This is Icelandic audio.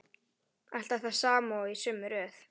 Alltaf það sama og í sömu röð.